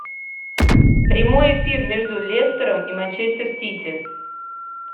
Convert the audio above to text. прямой эфир между лестером и манчестер сити